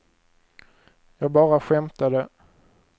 jag bara skämtade